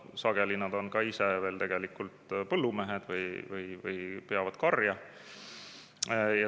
Sageli nad on ise tegelikult ka põllumehed või peavad karja.